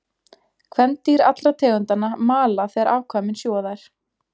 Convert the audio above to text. Kvendýr allra tegundanna mala þegar afkvæmin sjúga þær.